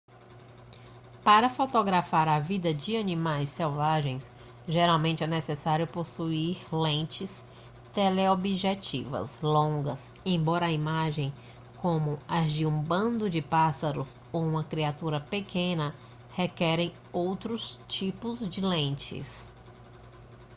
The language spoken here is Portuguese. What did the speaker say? para fotografar a vida de animais selvagens geralmente é necessário possuir lentes teleobjetivas longas embora imagens como as de um bando de pássaros ou uma criatura pequena requerem outros tipos de lentes